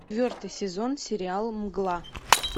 четвертый сезон сериала мгла